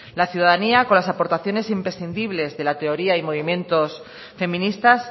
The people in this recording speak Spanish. la ciudadanía con las aportaciones imprescindibles de la teoría y movimientos feministas